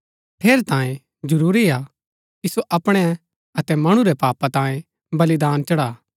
ठेरैतांये जरूरी हा कि सो अपणै अतै मणु रै पापा तांये बलिदान चढ़ा